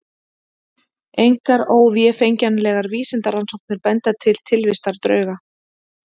Engar óvéfengjanlegar vísindarannsóknir benda til tilvistar drauga.